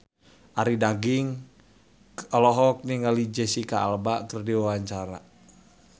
Arie Daginks olohok ningali Jesicca Alba keur diwawancara